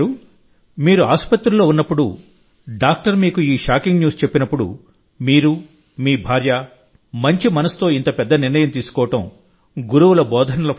మీరు ఆసుపత్రిలో ఉన్నప్పుడు డాక్టర్ మీకు ఈ షాకింగ్ న్యూస్ చెప్పినప్పుడుమీరు మీ భార్య ఆరోగ్యకరమైన మనస్సుతో ఇంత పెద్ద నిర్ణయం తీసుకోవడం గురువుల బోధనల ఫలితం